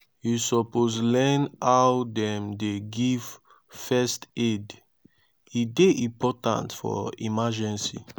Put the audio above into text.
you suppose learn how dem dey give first aid e dey important for emergency.